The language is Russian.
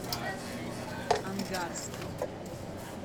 ангарском